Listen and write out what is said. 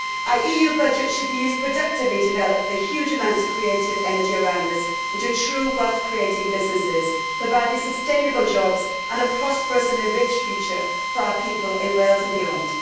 Our EU budget should be used productively to develop the huge amount of creative energy around us into true wealth creating businesses, providing sustainable jobs and a prosperous and rich future for our people in Wales and beyond.